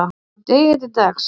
frá degi til dags